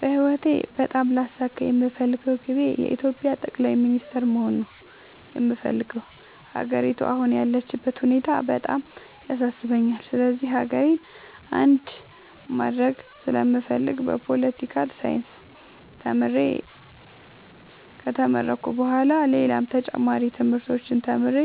በህይወቴ በጣም ላሳካ የምፈልገው ግቤ የኢትዮጵያ ጠቅላይ ሚኒስተር መሆን ነው የምፈልገው። ሀገሪቱ አሁን ያለችበት ሁኔታ በጣም ያሳስበኛል ስለዚህ ሀገሬን አንድ ማድረግ ስለምፈልግ በፓለቲካል ሳይንስ ተምሬ ከተመረኩኝ በኋላ ሌላም ተጨማሪ ትምህርቶችን ተምሬ